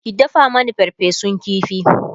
ki dafa Mani farfesun ƙifi!